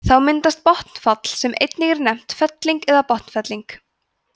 þá myndast botnfall sem einnig er nefnt felling eða botnfelling